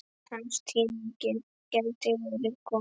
Hans tími gæti verið kominn.